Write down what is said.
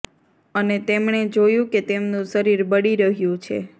અને તેમણે જોયું કે તેમનું શરીર બળી રહ્યું છે